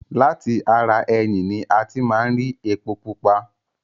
Lati ara ẹyìn ní a ti máa ń ri epo pupa.